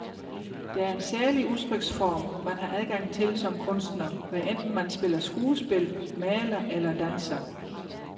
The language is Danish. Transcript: Der er en særlig udtryksform, man har adgang til som kunstner, hvad enten man spiller skuespil, maler eller danser.